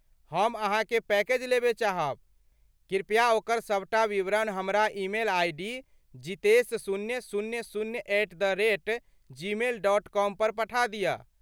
हम अहाँक पैकेज लेबय चाहब ,कृपया ओकर सबटा विवरण हमरा ईमेल आइ डी जितेश शून्य शून्य शून्य at the rate Gmail dot com पर पठा दिअ।